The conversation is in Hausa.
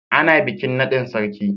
Ana bikin naɗin sarki.